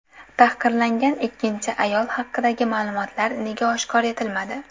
Tahqirlangan ikkinchi ayol haqidagi ma’lumotlar nega oshkor etilmadi?.